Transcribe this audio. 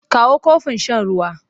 Kawo kofin shan ruwa!